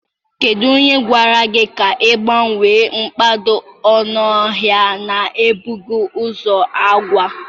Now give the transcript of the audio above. Kedu onye gwara gị ka ị gbanwee mkpado ọnụahịa na-ebughị ụzọ gwa?